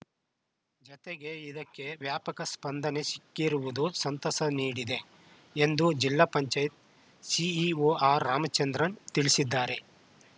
ಜತೆಗೆ ಇದಕ್ಕೆ ವ್ಯಾಪಕ ಸ್ಪಂದನೆ ಸಿಕ್ಕಿರುವುದು ಸಂತಸ ನೀಡಿದೆ ಎಂದು ಜಿಲ್ಲಾ ಪಂಚಾಯತ್ ಸಿಇಒ ಆರ್‌ರಾಮಚಂದ್ರನ್‌ ತಿಳಿಸಿದ್ದಾರೆ